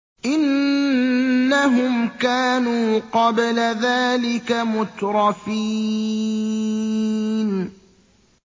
إِنَّهُمْ كَانُوا قَبْلَ ذَٰلِكَ مُتْرَفِينَ